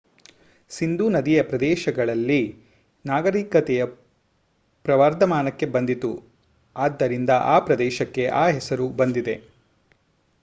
ಸಿಂಧೂ ನದಿಯ ಪ್ರದೇಶಗಳಲ್ಲಿ ನಾಗರಿಕತೆಯು ಪ್ರವರ್ಧಮಾನಕ್ಕೆ ಬಂದಿತು ಆದ್ದರಿಂದ ಆ ಪ್ರದೇಶಕ್ಕೆ ಆ ಹೆಸರು ಬಂದಿದೆ